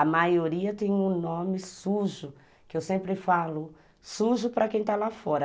A maioria tem um nome sujo, que eu sempre falo, sujo para quem está lá fora.